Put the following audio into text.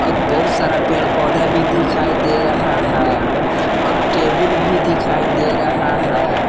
और बहुत सारा पेड़ पौधा भी दिखाई दे रहा है और टेबुल भी दिखाई दे रहा है।